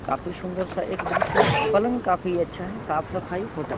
काफी सुन्दर सा एक दृश्य है पलंग काफी अच्छा है साफ़ सफाई होटल